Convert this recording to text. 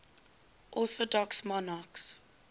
orthodox monarchs